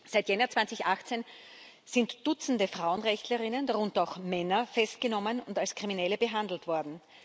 Seit Jänner 2018 sind Dutzende FrauenrechtlerInnen, darunter auch Männer, festgenommen und als Kriminelle behandelt worden.